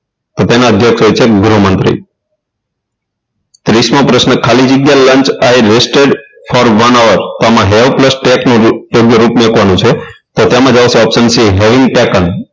તો તેના અધ્યક્ષ હોય છે ગૃહ મંત્રી ત્રીસ મો પ્રશ્ન ખાલી જગ્યા lunch i rested for one hour તો એમાં hair plus take રૂપ મૂકવાનું છે આવશે option c હેરિટેકન